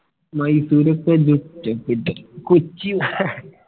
മൈസൂർ കൊച്ചി വ